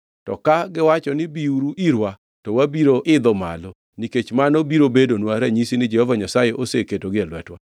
To kagiwacho ni, ‘Biuru irwa,’ to wabiro idho malo, nikech mano biro bedonwa ranyisi ni Jehova Nyasaye oseketogi e lwetwa.”